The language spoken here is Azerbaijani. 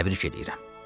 Təbrik eləyirəm.